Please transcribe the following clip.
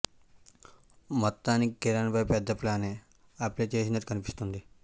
మొత్తానికి కిరణ్ పై పెద్ద ప్లానే అప్లై చేసినట్లు కనిపిస్తోంది